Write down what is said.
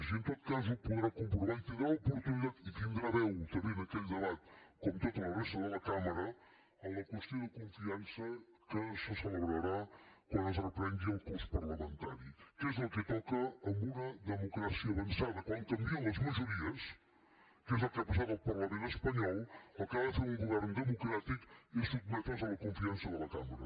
i en tot cas ho podrà comprovar i tindrà l’oportunitat i tindrà veu també en aquell debat com tota la resta de la cambra en la qüestió de confiança que se celebrarà quan es reprengui el curs parlamentari que és el que toca en una democràcia avançada quan canvien les majories que és el que ha passat al parlament espanyol el que ha de fer un govern democràtic és sotmetre’s a la confiança de la cambra